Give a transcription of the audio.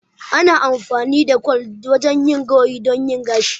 Ana yin amfani da kwal wajen yin gawayi don yin gashi.